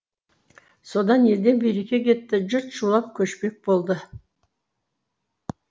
содан елден береке кетті жұрт шулап көшпек болды